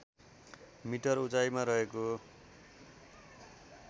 metre उचाईँमा रहेको